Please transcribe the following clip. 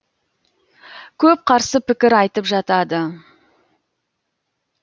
көп қарсы пікір айтып жатады